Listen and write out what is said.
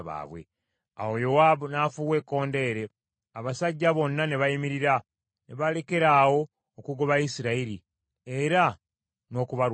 Awo Yowaabu n’afuuwa ekkondeere , abasajja bonna ne bayimirira, ne balekeraawo okugoba Isirayiri, era n’okubalwanyisa.